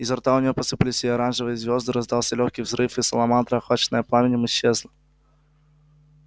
изо рта у нее посыпались и оранжевые звезды раздался лёгкий взрыв и саламандра охваченная пламенем исчезла